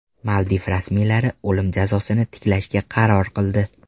Maldiv rasmiylari o‘lim jazosini tiklashga qaror qildi.